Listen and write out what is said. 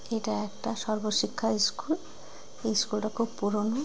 এটা একটা সর্ব শিক্ষা ইস্কুল এই স্কুল -টা খুব পুরোনো।